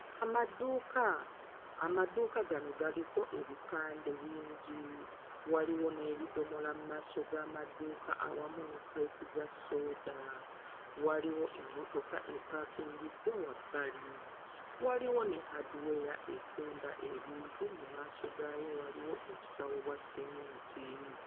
Amaduuka, amaduuka gano galiko ebipande bingi. Waliwo n'ebidomola mmaaso g'amaduuka awamu awamu ne kkuleeti za sooda. Waliwo emmotoka epaakingiddwa wabbali. Waliwo ne hardware etunda ebintu mu maaso gaayo waliwo obusawo bwa sseminti.